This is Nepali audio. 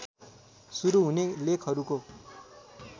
सुरू हुने लेखहरूको